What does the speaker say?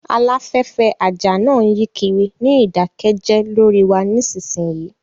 Aláfẹ́fẹ́ àjà náà yí kiri ní ìdákẹ́jẹ́ lórí wa nísinsìnyí